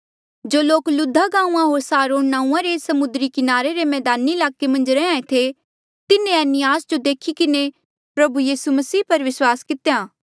जो लोक लुद्धा गांऊँआं होर सारोन नांऊँआं रे समुद्री किनारे रे मैदानी ईलाके मन्झ रैहयां ऐें थे तिन्हें एनियास जो देखी किन्हें प्रभु यीसू मसीह पर विस्वास कितेया